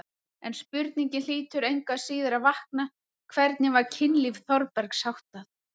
En spurningin hlýtur engu að síður að vakna: hvernig var kynlífi Þórbergs háttað?